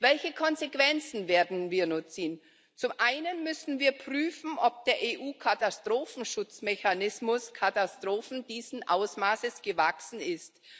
Welche Konsequenzen werden wir nun ziehen? Zum einen müssen wir prüfen, ob der EU Katastrophenschutzmechanismus Katastrophen dieses Ausmaßes gewachsen ist.